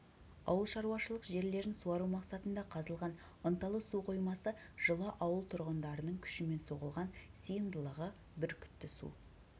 ауылшаруашылық жерлерін суару мақсатында қазылған ынталы су қоймасы жылы ауыл тұрғындарының күшімен соғылған сыйымдылығы бүркітті су